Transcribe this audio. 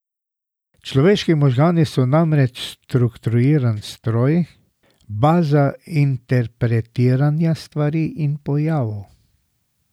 Človeški možgani so namreč strukturiran stroj, baza interpretiranja stvari in pojavov.